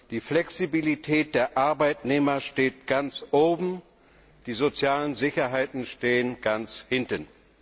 Die Flexibilität der Arbeitnehmer steht ganz oben, die sozialen Sicherheiten stehen ganz hinten.